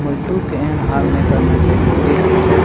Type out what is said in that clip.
मजदूर के एहन हाल ने करना चाही जे देश के से --